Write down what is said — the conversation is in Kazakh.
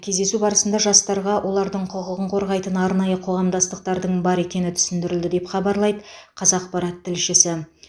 кездесу барысында жастарға олардың құқығын қорғайтын арнайы қоғамдастықтардың бар екені түсіндірілді деп хабарлайды қазақпарат тілшісі